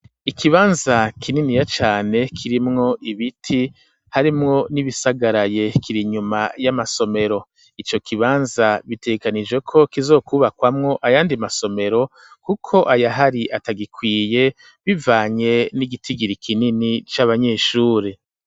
Ikibanza kininiya cane kirimwo ibiti harimwo n'ibisagaraye, kiri inyuma y'amasomero, ico kibanza bitegekanijwe ko kizokwubakwamwo ayandi masomero, kuko ayahari atagikwiye, bivanye n'igitigiri kinini c'abanyeshuri.